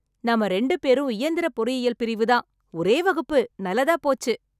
நாம ரெண்டு பேரும் இயந்திர பொறியியல் பிரிவு தான். ஒரே வகுப்பு நல்லதா போச்சு.